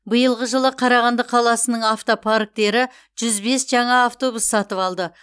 биылғы жылы қарағанды қаласының автопарктері жүз бес жаңа автобус сатып алды